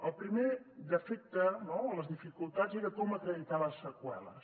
el primer defecte no les dificultats era com acreditar ne les seqüeles